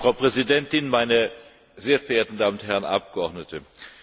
Frau Präsidentin, meine sehr verehrten Damen und Herren Abgeordnete!